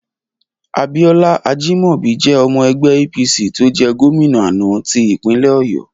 Abíọ́lá Ajímọ̀bi jẹ́ ọmọ ẹgbẹ́ APC tó jẹ́ gómìnà àná ti ìpínlẹ̀ Ọ̀yọ́.